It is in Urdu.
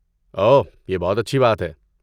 اوہ، یہ بہت اچھی بات ہے۔